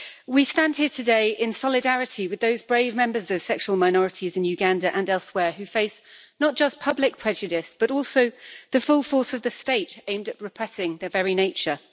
We stand here today in solidarity with those brave members of sexual minorities in Uganda and elsewhere who face not just public prejudice, but also the full force of the State aimed at repressing their very nature.